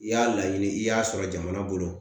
I y'a laɲini i y'a sɔrɔ jamana bolo